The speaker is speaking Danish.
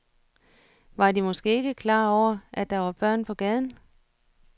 Var de måske ikke klar over, at der var børn på gaden?